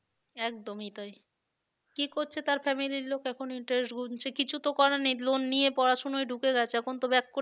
একদমই তাই কি করছে তার family র লোক এখন interest গুনছে কিছু তো করার নেই loan নিয়ে পড়াশোনায় ঢুকে গেছে এখন তো back করে